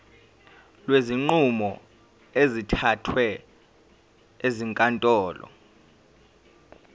kwezinqumo ezithathwe ezinkantolo